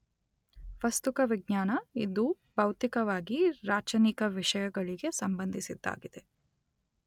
ವಸ್ತುಕ ವಿಜ್ಞಾನ , ಇದು ಭೌತಿಕವಾಗಿ ರಾಚನಿಕ ವಿಷಯಗಳಿಗೆ ಸಂಬಂಧಿಸಿದ್ದಾಗಿದೆ.